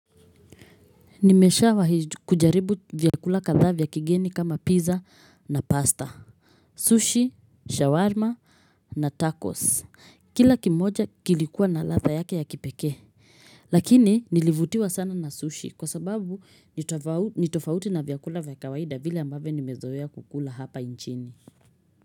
Nimesha wahi kujaribu vyakula kadhaa vya kigeni kama pizza na pasta. Sushi, shawarma na tacos. Kila kimoja kilikuwa na ladha yake ya kipekee. Lakini nilivutiwa sana na sushi kwa sababu ni nitofauti na vyakula vya kawaida vile ambavyo nimezoea kukula hapa nchini.